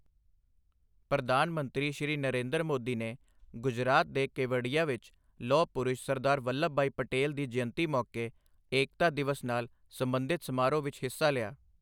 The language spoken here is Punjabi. ਪ੍ਰਧਾਨ ਮੰਤਰੀ, ਸ਼੍ਰੀ ਨਰਿੰਦਰ ਮੋਦੀ ਨੇ ਗੁਜਰਾਤ ਦੇ ਕੇਵਡੀਆ ਵਿਚ ਲੋਹ ਪੁਰਸ਼ ਸਰਦਾਰ ਵੱਲਵ ਭਾਈ ਪਟੇਲ ਦੀ ਜਯੰਤੀ ਮੌਕੇ ਏਕਤਾ ਦਿਵਸ ਨਾਲ ਸਬੰਧਿਤ ਸਮਾਰੋਹ ਵਿੱਚ ਹਿੱਸਾ ਲਿਆ।